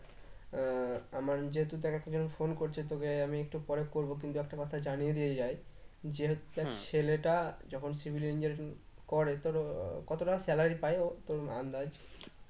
আহ আমার যেহেতু দেখ একজন phone করছে তোকে আমি একটু পরে করব কিন্তু একটা কথা জানিয়ে দিয়ে যায় ছেলেটা যখন civil engineering করে তোর কত টাকা salary প্রায় ও তোর আন্দাজ?